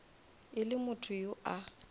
e le motho yo a